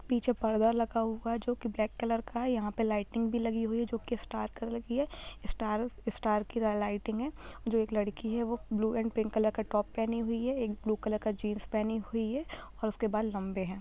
पीछे पर्दा लगा हुआ है जो कि ब्लैक कलर का है यहाँ पे लाइटिंग भी लगी हुई है जो कि स्टार कलर की है स्टार स्टार की ल लाइटिंग है जो एक लड़की है वो ब्लू एंड पिंक कलर का टॉप पहनी हुई है एक ब्लू कलर का जीन्स पहनी हुई है और उसके बाल लम्बे है।